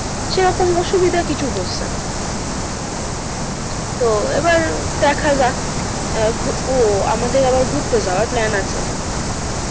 সেরকম অসুবিধা কিছু হচ্ছে না। তো এবার দেখা যাক আহ ও আমাদের আবার ঘুরতে যাওয়ার plan আছে।